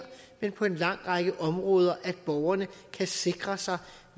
men på en lang række områder altså at borgeren kan sikre sig